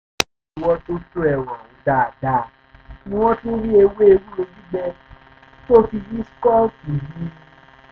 nígbà tí wọ́n tún tú ẹrù ọ̀hún dáadáa ni wọ́n tún rí ewé ewúro gbígbẹ tó fi yí skunk yìí